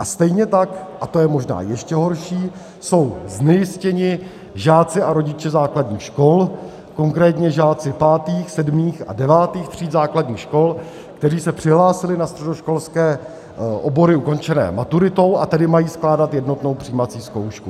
A stejně tak, a to je možná ještě horší, jsou znejistěni žáci a rodiče základních škol, konkrétně žáci 5., 7. a 9. tříd základních škol, kteří se přihlásili na středoškolské obory ukončené maturitou, a tedy mají skládat jednotnou přijímací zkoušku.